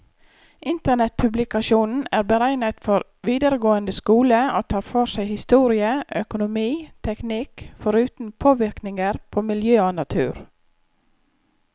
Internettpublikasjonen er beregnet for videregående skole, og tar for seg historie, økonomi, teknikk, foruten påvirkninger på miljø og natur.